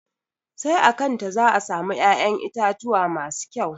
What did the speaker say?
Sai a kanta za a samu ya'yan itatuwa masu kƴau.